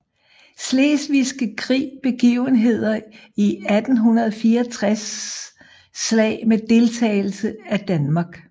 Slesvigske Krig Begivenheder i 1864 Slag med deltagelse af Danmark